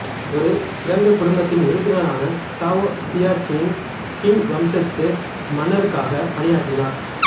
ஒரு சிறந்த குடும்பத்தின் உறுப்பினரான சாவோ சியாச்சின் கிங் வம்சத்து மன்னருக்காக பணியாற்றினார்